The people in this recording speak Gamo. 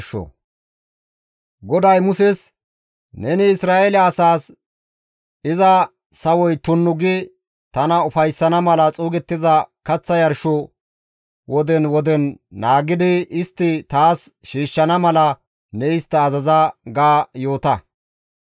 «Neni Isra7eele asaas, ‹Iza sawoy tunnu gi tana ufayssana mala xuugettiza kaththa yarsho woden woden naagidi istti taas shiishshana mala ne istta azaza› ga yoota.